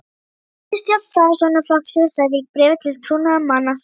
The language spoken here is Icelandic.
Miðstjórn Framsóknarflokksins sagði í bréfi til trúnaðarmanna sinna